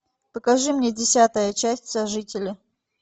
покажи мне десятая часть сожители